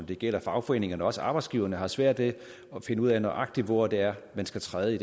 det gælder fagforeningerne og også arbejdsgiverne har svært ved at finde ud af nøjagtig hvor det er man skal træde i